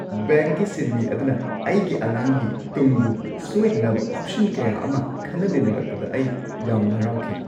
ꯕꯦꯡꯛꯀꯤ ꯁꯤꯟꯃꯤ ꯑꯗꯨꯅ ꯑꯩꯒꯤ ꯑꯉꯥꯡꯒꯤ ꯇꯨꯡꯕꯨ ꯁꯣꯏꯗꯅꯕ ꯑꯣꯞꯁꯟ ꯀꯌꯥ ꯑꯃ ꯈꯟꯅ ꯅꯩꯅꯔꯛꯄꯗ ꯑꯩ ꯌꯥꯝ ꯍꯔꯥꯎꯈꯤ ꯫